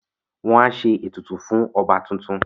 Wọ́n á ṣe ètùtù fún ọba tuntun